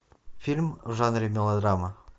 фильм в жанре мелодрама